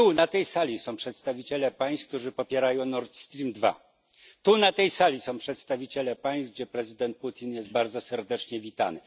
Tu, na tej sali, są przedstawiciele państw, które popierają NordStream 2, tu, na tej sali, są przedstawiciele państw, gdzie prezydent Putin jest bardzo serdecznie witany.